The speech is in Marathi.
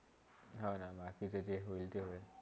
हा ना, बाकी के चे ते होईल ते होईल